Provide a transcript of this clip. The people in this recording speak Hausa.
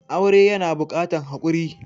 Aure yana buƙatan hakuri.